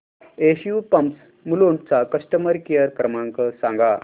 SU pumps Mulund चा customer care क्रमांक सांगा